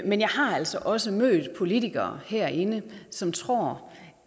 men jeg har altså også mødt politikere herinde som tror